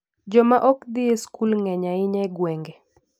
Joma ok dhi e skul ng'eny ahinya e gwenge.